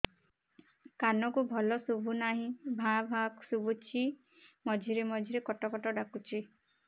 କାନକୁ ଭଲ ଶୁଭୁ ନାହିଁ ଭାଆ ଭାଆ ଶୁଭୁଚି ମଝିରେ ମଝିରେ କଟ କଟ ଡାକୁଚି